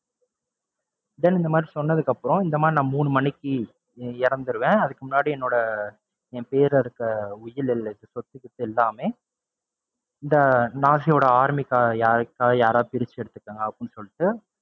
then இந்த மாதிரி சொன்னதுக்கப்பறம், இந்த மாதிரி நான் மூணு மணிக்கு இறந்துருவேன் அதுக்கு முன்னாடி என்னோட என் பெயர்ல இருக்க உயில் எழுதி சொத்துபத்து வச்சுருக்க எல்லாமே இந்த army யாராவது பிரிச்சு எடுத்துக்கோங்க அப்படின்னு சொல்லிட்டு,